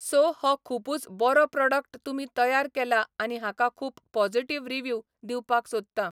So हो खुबूच बरो प्रोडक्ट तुमी तयार केला आनी हाका खूब पॉजिटीव रिव्यूव दिवपाक सोदता.